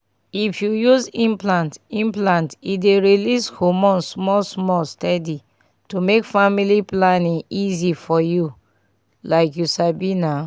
if you use implant implant e dey release hormone small-small steady to make family planning easy for you — like you sabi na.